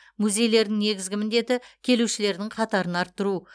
музейлердің негізгі міндеті келушілердің қатарын арттыру